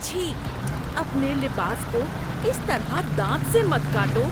چھی، اپنے لباس کو اس طرح دانت سے مت کاٹو۔